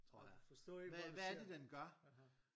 Og du forstår ikke hvad du ser aha